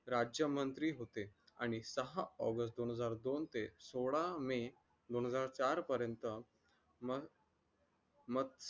राज्यमंत्री होते आणि सहा ऑगस्ट दोन हजार दोन ते सोळा मे दोन हजार चार पर्यंत मग